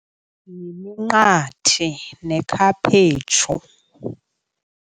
Yiminqathe nekhaphetshu.